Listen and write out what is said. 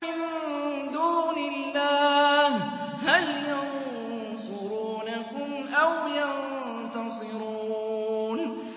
مِن دُونِ اللَّهِ هَلْ يَنصُرُونَكُمْ أَوْ يَنتَصِرُونَ